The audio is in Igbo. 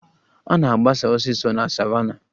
A na-agbasa osisi na savannah